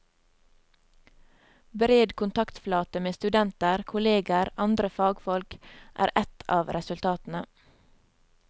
Bred kontaktflate med studenter, kolleger, andre fagfolk, er et av resultatene.